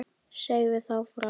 Segðu þá frá.